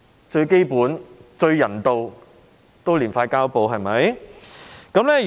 最基本、最人道也應貼上膠布，對嗎？